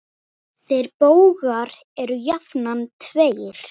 Þeir bógar eru jafnan tveir.